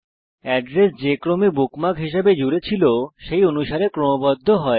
address যে ক্রমে bookmark হিসাবে জুড়েছিল সেই অনুসারে ক্রমবদ্ধ হয়